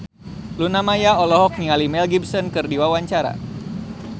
Luna Maya olohok ningali Mel Gibson keur diwawancara